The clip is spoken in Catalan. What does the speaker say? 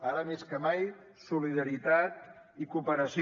ara més que mai solidaritat i cooperació